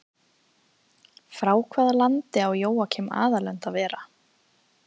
Frá hvaða landi á Jóakim aðalönd að vera?